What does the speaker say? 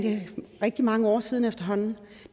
rigtig mange år siden efterhånden